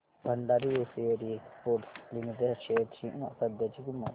Bhandari hosiery exports limited shares ची सध्याची किंमत